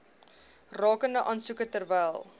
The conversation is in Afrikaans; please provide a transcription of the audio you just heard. rakende aansoeke terwyl